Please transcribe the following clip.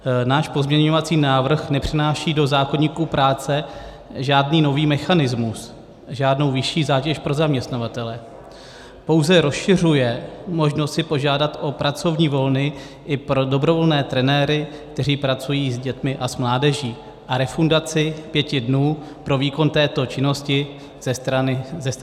Náš pozměňovací návrh nepřináší do zákoníku práce žádný nový mechanismus, žádnou vyšší zátěž pro zaměstnavatele, pouze rozšiřuje možnost si požádat o pracovní volno i pro dobrovolné trenéry, kteří pracují s dětmi a s mládeží, a refundaci pěti dnů pro výkon této činnosti ze strany státu.